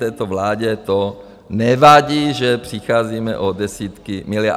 Této vládě to nevadí, že přicházíme o desítky miliard.